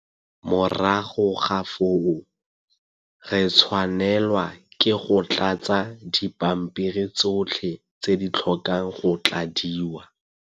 Morago ga foo, re tshwanelwa ke go tlatsa dipampiri tsotlhe tse di tlhokang go tladiwa.